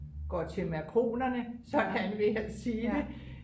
går til makronerne sådan vil jeg sige det